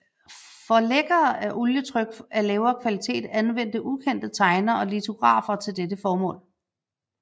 Forlæggere af olietryk af lavere kvalitet anvendte ukendte tegnere og litografer til dette formål